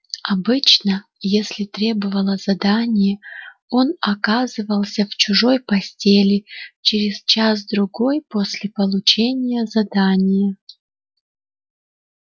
обычно если требовало задание он оказывался в чужой постели через час-другой после получения задания